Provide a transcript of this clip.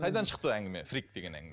қайдан шықты әңгіме фрик деген